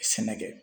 Sɛnɛ kɛ